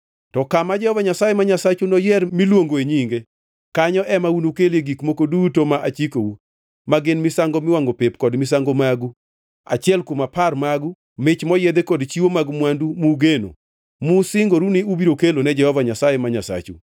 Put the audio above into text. To kama Jehova Nyasaye ma Nyasachu noyier miluongo e Nyinge, kanyo ema unukelie gik moko duto ma achikou, ma gin misango miwangʼo pep, kod misango magu, achiel kuom apar magu, mich moyiedhi kod chiwo mag mwandu mugeno musingoru ni ubiro kelo ne Jehova Nyasaye ma Nyasachu.